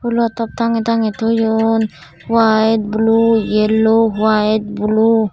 fhulo top tangey tangey toyon owite blue yellow owite blue.